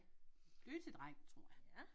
Dygtig dreng tror jeg